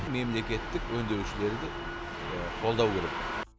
мемлекеттік өңдеушілерді қолдау керек